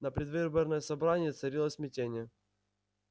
на предвыборном собрании царило смятение